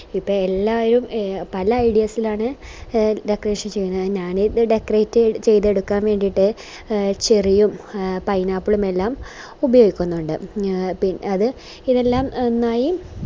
ഇപ്പൊ എല്ലാരും പല ideas ഇലാണ് decoration ചെയ്യുന്നത് ഞാന് decorate ചെയ്തെടുക്കാൻ വേണ്ടീട്ട് ചെറിയ pineapple എല്ലാം ഉപയോഗിക്കുന്നുണ്ട് എ പി അത് എല്ലാം നന്നായി